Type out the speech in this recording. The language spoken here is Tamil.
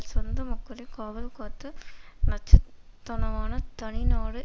சொந்த மக்களை காவல் காத்து நச்சுத்தனமான தனி நாடு